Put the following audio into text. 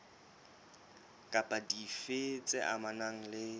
kapa dife tse amanang le